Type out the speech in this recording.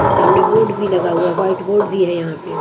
सामने बोर्ड भी लगा हुआ है वाइट बोर्ड भी है यहां पे ।